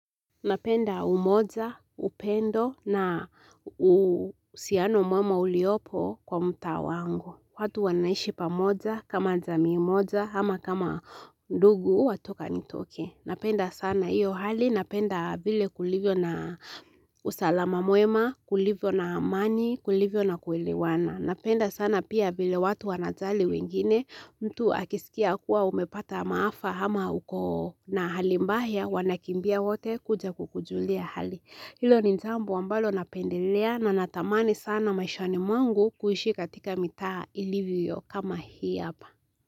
Napenda umoja, upendo na uhusiano mwema uliopo kwa mtaa wangu. Watu wanaishi pamoja, kama jamii moja, ama kama ndugu, wa toka nitoke. Napenda sana iyo hali, napenda vile kulivyo na usalama mwema, kulivyo na amani, kulivyo na kuelewana. Napenda sana pia vile watu wanajali wengine mtu akisikia kuwa umepata maafa ama uko na hali mbaya wanakimbia wote kuja kukujulia hali. Hilo ni jambo ambalo napendelea na natamani sana maishani mwangu kuishi katika mitaa ilivyo kama hii hapa.